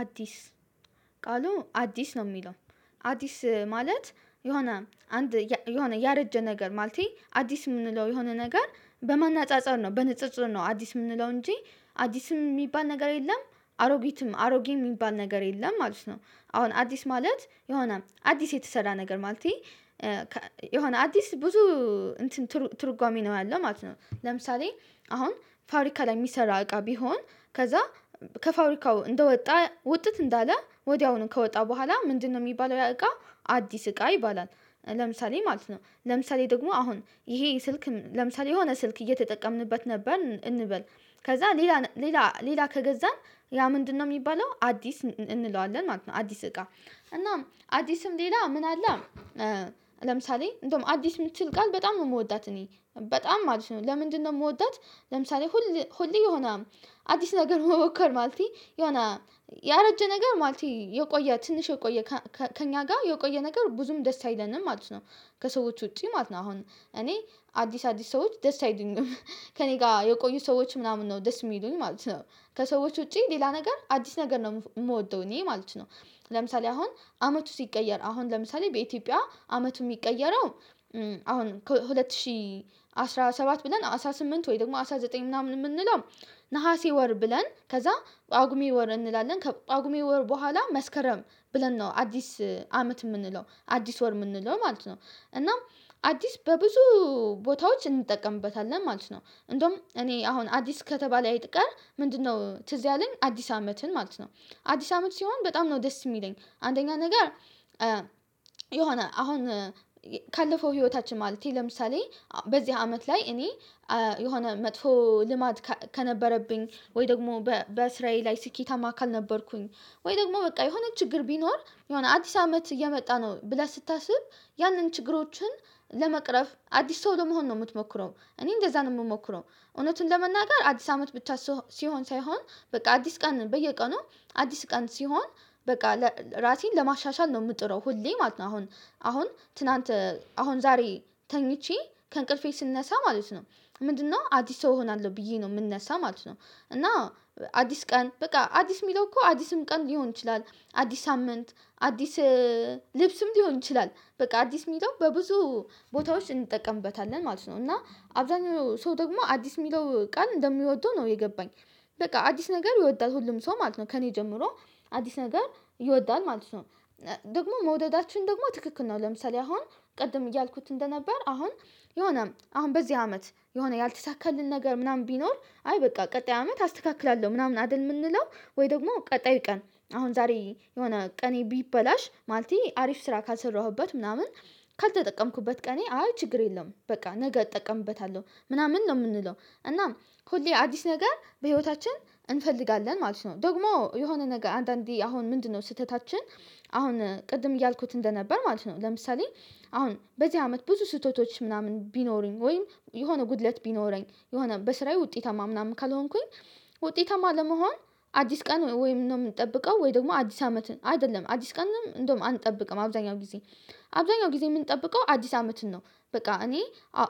አዲስ ቃሉ አዲስ ነው የሚለው አዲስ ማለት የሆነ አንድ የሆነ ያረጀ ነገር ማለቴ አዲስ የምንለው የሆነ ነገር በማናጻጸር ነው በንጽጽር ነው አዲስ የምንለው እንጂ። አዲስም የሚባል ነገር የለም። አሮጊትም አሮጌ የሚባል ነገር የለም ማለት ነው። አሁን አዲስ ማለት የሆነ አዲስ የተሰራ ነገር ማለቴ- የሆነ አዲስ ብዙ- እንትን ትርጓሜ ነው ያለው ማለት ነው። ለምሳሌ አሁን ፋብሪካ ላይ የሚሰራ እቃ ቢሆን ከዛ- ከፋብሪካው እንደወጣ ውጥት እንዳለ ወዲያውኑ ከወጣ በኋላ ምንድነው የሚባለው ያ እቃ አዲስ እቃ ይባላል ለምሳሌ ማለት ነው። ለምሳሌ ደግሞ አሁን ይሄ ስልክ ለምሳሌ የሆነ ስልክ እየተጠቀምንበት ነበር እንበል- ከዛ ሌላ ሌላ ሌላ ከገዛን ያ ምንድነው የሚባለው አዲስ እንለዋለን ማለት ነው። አዲስ እቃ። እናም አዲስም ሌላ ምን አለ- ለምሳሌ እንደውም አዲስ የምትል ቃል በጣም ነው የምወዳት እኔ። በጣም ማለት ነው። ለምንድነው የምወዳት ለምሳሌ ሁሌ ሁሌ የሆነ አዲስ ነገር መሞከር ማለት የሆነ ያረጀ ነገር ማለት የቆየ ትንሽ የቆየ ከእኛ ጋር የቆየ ነገር ብዙም ደስ አይለንም ማለት ነው ከሰዎች ውጪ ማለት ነው። አሁን እኔ- አዲስ አዲስ ሰዎች ደስ አይሉኝም። ከእኔ ጋር የቆዩ ሰዎች ምናምን ነው ደስ የሚሉኝ ማለት ነው። ከሰዎች ውጪ ሌላ ነገር አዲስ ነገር ነው የምወደው እኔ ማለት ነው። ለምሳሌ አሁን አመቱ ሲቀየር አሁን ለምሳሌ በኢትዮጵያ አመቱ የሚቀየረው- አሁን ከሁለት ሺህ አስራ ሰባት ብለን አስራ ስምንት ወይ ደግሞ አስራ ዘጠኝ ምናምን የምንለው- ነሀሴ ወር ብለን ከዛ ጳጉሜ ወር እንላለን። ከጳጉሜ ወር በኋላ መስከረም ብለን ነው አዲስ አመት የምንለው አዲስ ወር የምንለው ማለት ነው። እናም አዲስ በብዙ- ቦታዎች እንጠቀምበታለን ማለት ነው። እንደውም እኔ አሁን አዲስ ከተባለ አይቀር ምንድነው ትዝ ያለኝ አዲስ አመትን ማለት ነው አዲስ አመት ሲሆን በጣም ነው ደስ የሚለኝ። አንደኛ ነገር የሆነ አሁን- ካለፈው ህይወታችን ማለቴ ለምሳሌ በዚህ አመት ላይ እኔ- የሆነ መጥፎ ልማድ ከነበረብኝ ወይ ደግሞ በስራዬ ላይ ስኬታማ ካልነበርኩኝ ወይ ደግሞ በቃ የሆነ ችግር ቢኖር የሆነ አዲስ አመት እየመጣ ነው ብለህ ስታስብ ያንን ችግሮችን ለመቅረፍ አዲስ ሰው ለመሆን ነው የምትሞክረው እኔ እንደዛ ነው የምሞክረው። እውነቱን ለመናገር አዲስ አመት ብቻ ሲሆን ሳይሆን በቃ አዲስ ቀን በየቀኑ አዲስ ቀን ሲሆን በቃ ራሴን ለማሻሻል ነው የምጥረው ሁሌ ማለት ነው። አሁን አሁን ትናንት አሁን ዛሬ ተኝቼ ከእንቅልፌ ስንነሳ ማለት ነው ምንድነው አዲስ ሰው እሆናለሁ ብዬ ነው የምንነሳ ማለት ነው። እና- አዲስ ቀን በቃ አዲስ የሚለው እኮ አዲስም ቀን ሊሆን ይችላል። አዲስ ሳምንት አዲስ- ልብስም ሊሆን ይችላል። በቃ አዲስ የሚለው በብዙ ቦታዎች እንጠቀምበታለን ማለት ነው። እና አብዛኛው ሰው ደግሞ አዲስ የሚለው ቃል እንደሚወደው ነው የገባኝ። በቃ አዲስ ነገር ይወዳል ሁሉም ሰው ማለት ነው ከእኔ ጀምሮ አዲስ ነገር ይወዳል ማለት ነው። ደግሞ መውደዳችን ደግሞ ትክክል ነው። ለምሳሌ አሁን ቅድም እያልኩት እንደነበር አሁን የሆነ- አሁን በዚህ አመት የሆነ ያልተሳካልን ነገር ምናምን ቢኖር አይ በቃ ቀጣይ አመት አስተካክላለሁ ምናምን አይደል የምንለው። ወይ ደግሞ ቀጣይ ቀን አሁን ዛሬ የሆነ ቀኔ ቢበላሽ ማለቴ አሪፍ ስራ ካሰራሁበት ምናምን ካልተጠቀምኩበት ቀኔ አይ ችግር የለም- በቃ ነገ እጠቀምበታለሁ ምናምን ነው የምንለው። እናም ሁሌ አዲስ ነገር በህይወታችን እንፈልጋለን ማለት ነው። ደግሞ የሆነ ነገር አንዳንዴ አሁን ምንድነው ስህተታችን- አሁን ቅድም እያልኩት እንደነበር ማለት ነው። ለምሳሌ:- አሁን በዚህ አመት ብዙ ስህተቶች ምናምን ቢኖሩኝ ወይም :የሆነ ጉድለት ቢኖረኝ :የሆነ በስራዬ ውጤታማ ምናምን ካልሆንኩኝ ውጤታማ ለመሆን አዲስ ቀን ወይ ነው የምንጠብቀው ወይ ደግሞ አዲስ አመትን አይደለም አዲስ ቀንም እንደውም አንጠብቅም አብዛኛው ጊዜ- አብዛኛው ጊዜ የምንጠብቀው አዲስ አመትን ነው በቃ እኔ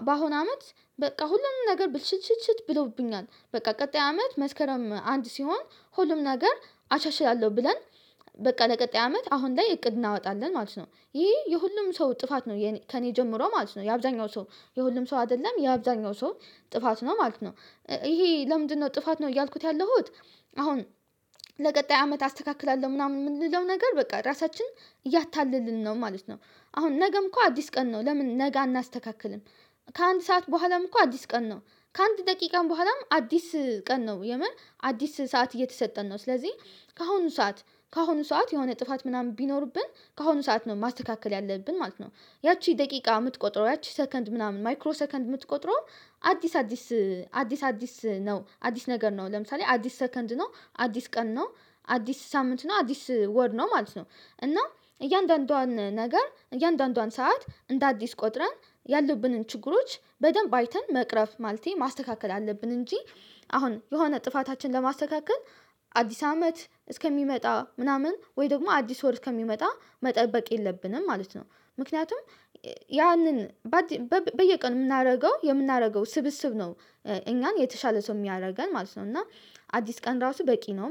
በአሁን አመት በቃ ሁሉንም ነገር ብልሽትሽት ብለውብኛል። በቃ ቀጣይ አመት መስከረም አንድ ሲሆን ሁሉም ነገር አሻሽላለሁ ብለን- በቃ ለቀጣይ አመት አሁን ላይ እቅድ እናወጣለን ማለት ነው። ይሄ የሁሉም ሰው ጥፋት ነው ከእኔ ጀምሮ ማለት ነው። የአብዛኛው ሰው የሁሉም ሰው አይደለም። የአብዛኛው ሰው ጥፋት ነው ማለት ነው። ይሄ ለምንድነው ጥፋት ነው እያልኩት ያለሁት አሁን- ለቀጣይ አመት አስተካክላለሁ ምናምን የምንለው ነገር በቃ ራሳችን እያታለልን ነው ማለት ነው። አሁን ነገም እኮ አዲስ ቀን ነው ለምን ነገ አናስተካክልም። ከአንድ ሰዓት በኋላም እኮ አዲስ ቀን ነው። ከአንድ ደቂቃም በኋላም አዲስ ቀን ነው። የመን አዲስ ሰዓት እየተሰጠን ነው። ስለዚህ ከአሁኑ ሰዓት ከአሁኑ ሰዓት የሆነ ጥፋት ምናምን ቢኖርብን ከአሁኑ ሰዓት ነው ማስተካከል ያለብን ማለት ነው። ያቺ ደቂቃ የምትቆጥረው ያቺ ሰከንድ ምናምን ማይክሮ ሰከንድ የምትቆጥረው አዲስ አዲስ- አዲስ አዲስ ነው። አዲስ ነገር ነው። ለምሳሌ አዲስ ሰከንድ ነው። አዲስ ቀን ነው። አዲስ ሳምንት ነው። አዲስ ወር ነው ማለት ነው። እና እያንዳንዷን ነገር እያንዳንዷን ሰዓት እንደ አዲስ ቆጥረን ያለብንን ችግሮች በደንብ አይተን መቅረፍ ማለቴ ማስተካከል አለብን እንጂ- አሁን የሆነ ጥፋታችን ለማስተካከል አዲስ አመት እስከሚመጣ ምናምን ወይ ደግሞ አዲስ ወር እስከሚመጣ መጠበቅ የለብንም ማለት ነው። ምክንያቱም ያንን በየቀን የምናደርገው የምናደርገው ስብስብ ነው እኛን የተሻለ ሰው የሚያደርገን ማለት ነው። እና- አዲስ ቀን ራሱ በቂ ነው ማለት ነው።